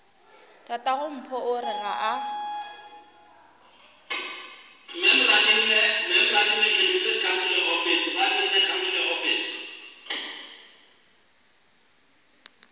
tatagompho o re ga a